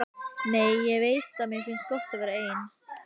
Nei, ég veit að þér finnst gott að vera ein.